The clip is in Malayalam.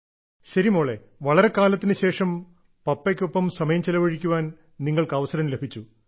ശരി മോളെ വളരെക്കാലത്തിനുശേഷം പപ്പയ്ക്കൊപ്പം സമയം ചെലവഴിക്കാൻ നിങ്ങൾക്ക് അവസരം ലഭിച്ചു